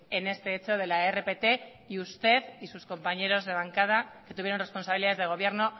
en este hecho de la rpt y usted y sus compañeros de bancada que tuvieron responsabilidades de gobierno